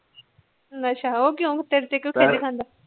ਅੱਛਾ ਉਹ ਕਿਉ ਤੇੇਰੇ ਤੋ ਕਿਉ ਖਿਜ ਖਾਂਦਾ